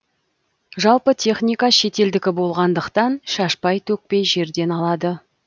жалпы техника шетелдікі болғандықтан шашпай төкпей жерден алады